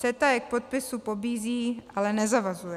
CETA je k podpisu pobízí, ale nezavazuje.